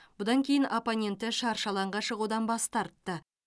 бұдан кейін оппоненті шаршы алаңға шығудан бас тартты